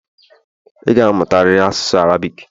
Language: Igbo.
ị ga-amụtari asụsụ Arabic!